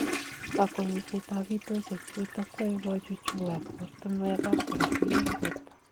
Kakwenyisiet ab bitoshek chutok kwae kochuchuak ortunuek ab korotik eng borto.